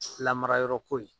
Lamara yɔrɔ ko ye.